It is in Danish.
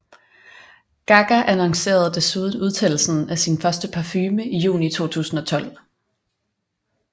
Gaga annoncerede desuden udsendelsen af sin første parfume i juni 2012